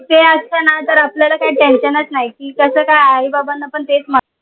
ते असतांना तर आपल्याला काई tension नाई की कस काय आई बाबाना पण तेच मा